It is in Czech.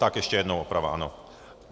Tak ještě jednou oprava, ano.